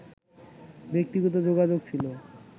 ব্যক্তিগত যোগাযোগ ছিল